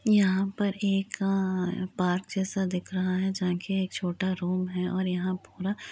यहाँ पर एक अअअअअ पार्क जैसा दिख रहा है। जहाँ के एक छोटा रूम है और यहाँ पूरा --